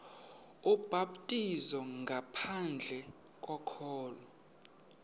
ubhaptizo ngaphandle kokholo